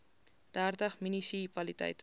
dertig munisi paliteite